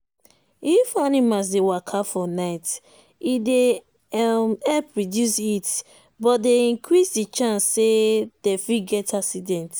if animals dey waka for night e dey um help reduce heat but dey increase the chance say them fit get accident